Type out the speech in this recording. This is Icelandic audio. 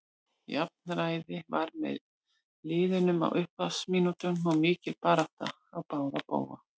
Jafnræði var með liðunum á upphafsmínútunum og var mikil barátta á báða bóga.